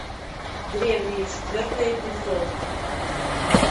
древние четвертый эпизод